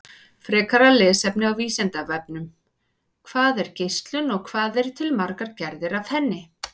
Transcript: Frekara lesefni á Vísindavefnum: Hvað er geislun og hvað eru til margar gerðir af henni?